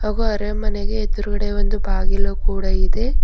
ಹಾಗೂ ಅರಮನೆಗೆ ಎದುರುಗಡೆ ಒಂದು ಬಾಗಿಲು ಕೂಡ ಇದೆ.